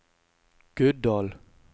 Guddal